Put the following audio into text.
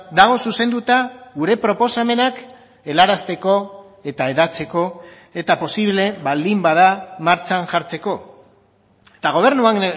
dago zuzenduta gure proposamenak helarazteko eta hedatzeko eta posible baldin bada martxan jartzeko eta gobernuan